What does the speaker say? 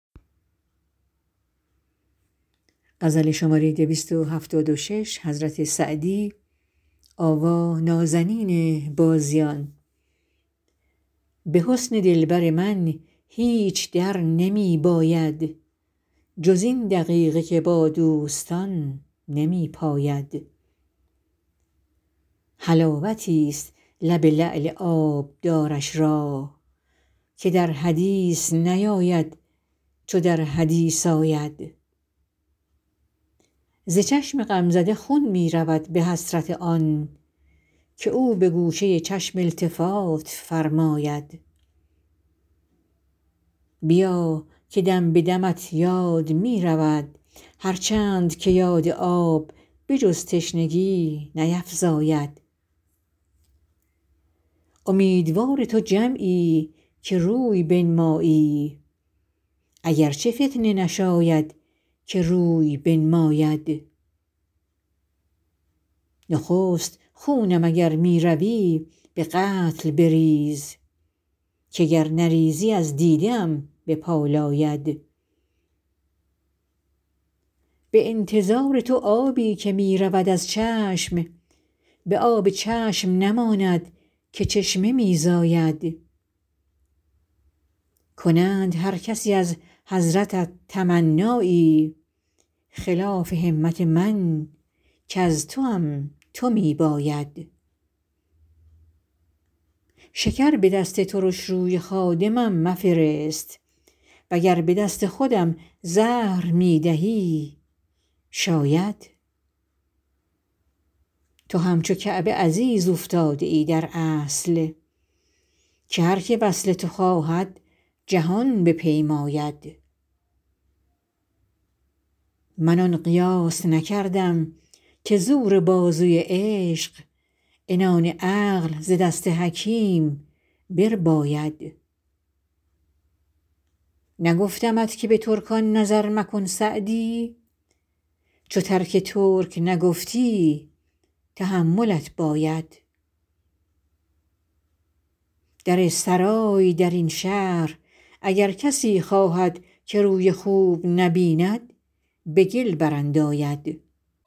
به حسن دلبر من هیچ در نمی باید جز این دقیقه که با دوستان نمی پاید حلاوتیست لب لعل آبدارش را که در حدیث نیاید چو در حدیث آید ز چشم غمزده خون می رود به حسرت آن که او به گوشه چشم التفات فرماید بیا که دم به دمت یاد می رود هر چند که یاد آب به جز تشنگی نیفزاید امیدوار تو جمعی که روی بنمایی اگر چه فتنه نشاید که روی بنماید نخست خونم اگر می روی به قتل بریز که گر نریزی از دیده ام بپالاید به انتظار تو آبی که می رود از چشم به آب چشم نماند که چشمه می زاید کنند هر کسی از حضرتت تمنایی خلاف همت من کز توام تو می باید شکر به دست ترش روی خادمم مفرست و گر به دست خودم زهر می دهی شاید تو همچو کعبه عزیز اوفتاده ای در اصل که هر که وصل تو خواهد جهان بپیماید من آن قیاس نکردم که زور بازوی عشق عنان عقل ز دست حکیم برباید نگفتمت که به ترکان نظر مکن سعدی چو ترک ترک نگفتی تحملت باید در سرای در این شهر اگر کسی خواهد که روی خوب نبیند به گل برانداید